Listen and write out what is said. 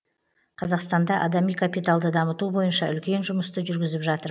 қазақстанда адами капиталды дамыту бойынша үлкен жұмысты жүргізіп жатыр